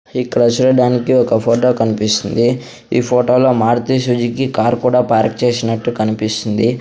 ఇక్కడ శూడటానికి ఒక ఫోటో కన్పిస్తుంది ఈ ఫోటోలో మారుతి సుజుకీ కారు కూడా పార్క్ చేసినట్టు కనిపిస్తుంది.